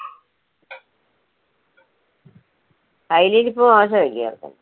കൈയിലിരിപ്പ് മോശായിരിക്കും